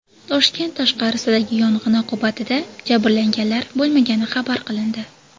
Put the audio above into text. Toshkent tashqarisidagi yong‘in oqibatida jabrlanganlar bo‘lmagani xabar qilindi.